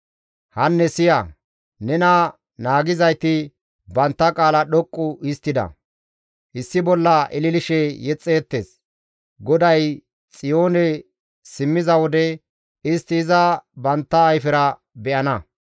Hanne siya! Nena naagiyzayti bantta qaala dhoqqu histtida. Issi bolla ililishe yexxeettes; GODAY Xiyoone simmiza wode, istti iza bantta ayfera be7ana.